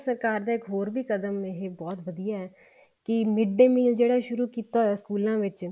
ਸਰਕਾਰ ਦਾ ਇੱਕ ਹੋਰ ਵੀ ਕਦਮ ਇਹ ਬਹੁਤ ਵਧੀਆ ਕੀ mid day meal ਜਿਹੜਾ ਸ਼ੁਰੂ ਕੀਤਾ ਹੋਇਆ ਸਕੂਲਾਂ ਵਿੱਚ